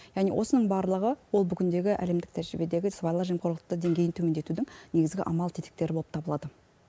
яғни осының барлығы ол бүгіндегі әлемдік тәжірибедегі сыбайлас жемқорлықты деңгейін төмендетудің негізгі амал тетіктері боп табылады